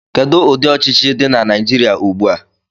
Kedu ụdị ọchịchị dị na Naijiria ugbu a?